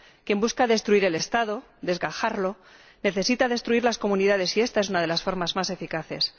Quien busca destruir el Estado, desgajarlo, necesita destruir las comunidades y esta es una de las formas más eficaces.